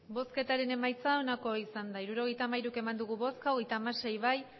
hirurogeita hamairu eman dugu bozka hogeita hamasei bai